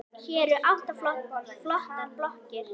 Hér eru átta flottar blokkir.